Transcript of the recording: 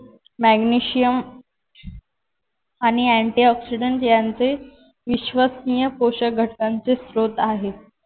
Magnesium आणि antioxidants यांचे विश्वसनीय पोषक घटकांचे स्त्रोत आहेत.